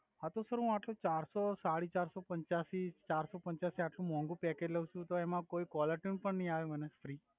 હા તો સર હુ ચાર સો સડી ચાર્સો પંચાસી ચાર્સો પંચાસી આટ્લુ મોંઘુ પેકેજ લવ છુ તો એમ કોઇ કોલર ટ્યુન પણ નઈ આવે મને ફ્રિ